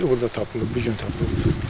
Meyit orda tapılıb, bu gün tapılıb.